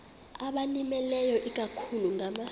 abalimileyo ikakhulu ngama